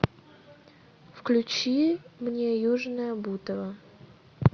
включи мне южное бутово